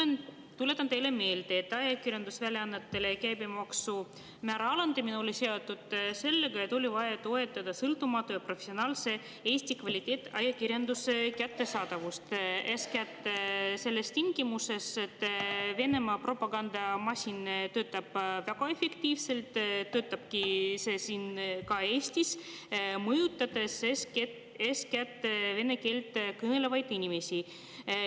Ma tuletan teile meelde, et ajakirjandusväljaannete käibemaksumäära alandamine oli seotud sellega, et oli vaja toetada sõltumatu ja professionaalse Eesti kvaliteetajakirjanduse kättesaadavust, eeskätt nendes tingimustes, kus Venemaa propagandamasin töötab väga efektiivselt, ka siin Eestis, mõjutades eeskätt vene keelt kõnelevaid inimesi.